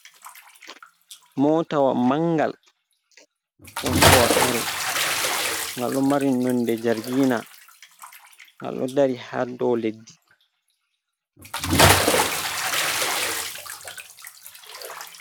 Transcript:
Motawa mangal hosowa kare, ngal ɗo mari nonde jargina ngal ɗo dari haa do leɗɗi.